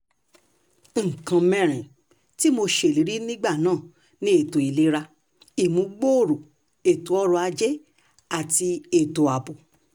nǹkan mẹ́rin tí mo ṣèlérí nígbà náà ni ètò ìlera ìmúgbòòrò ètò ọrọ̀ ajé àti ètò ààbò